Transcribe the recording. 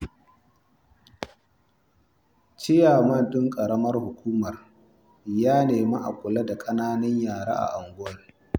Ciyaman ɗin ƙaramar hukumar ya nemi a kula da ƙananan yara a garin